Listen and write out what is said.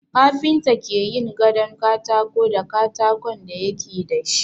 Kafinta ke yin gadon katako da katakon da yake da shi.